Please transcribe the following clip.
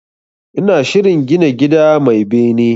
Ina shirin gina gida mai bene